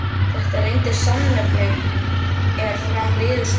Þetta reyndist sannnefni, er fram liðu stundir.